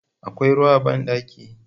Akwai ruwa a banɗakin?